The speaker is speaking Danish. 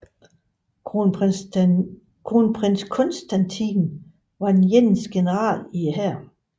Kronprins Konstantin var den eneste general i hæren